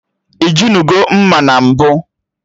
Ijinugo mma na mbụ?